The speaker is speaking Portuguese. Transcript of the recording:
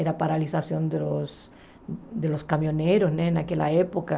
Era a paralisação dos dos caminhoneiros né naquela época.